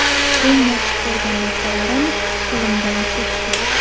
Eng yaxshi ko‘rgan narsalarim qo‘limdan ketdi.